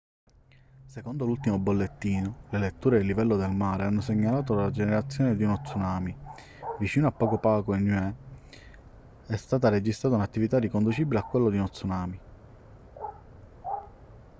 secondo l'ultimo bollettino le letture del livello del mare hanno segnalato la generazione di uno tsunami vicino a pago pago e niue è stata registrata un'attività riconducibile a quella di uno tsunami